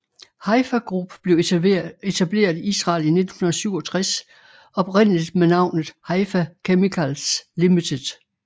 Haifa Group blev etableret i Israel i 1967 oprindeligt med navnet Haifa Chemicals Ltd